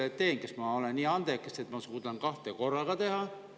Võib-olla ma olen nii andekas, et ma suudan kahte korraga teha.